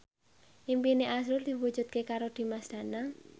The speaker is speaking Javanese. impine azrul diwujudke karo Dimas Danang